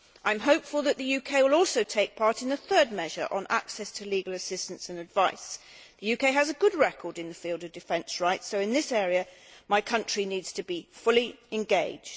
I am hopeful that the UK will also take part in the third measure on access to legal assistance and advice. The UK has a good record in the field of defence rights, so in this area my country needs to be fully engaged.